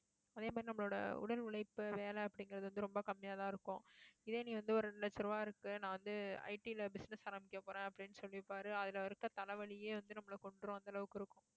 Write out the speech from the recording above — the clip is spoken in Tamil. அதே மாதிரி, நம்மளோட உடல் உழைப்பு, வேலை அப்படிங்கிறது வந்து, ரொம்ப கம்மியாதான் இருக்கும் இதே நீ வந்து, ஒரு ரெண்டு லட்சம் ரூபாய் இருக்கு. நான் வந்து, IT ல business ஆரம்பிக்க போறேன், அப்படின்னு சொல்லியிருப்பாரு. அதுல இருக்க, தலைவலியே வந்து, நம்மளை கொன்றும், அந்த அளவுக்கு இருக்கும்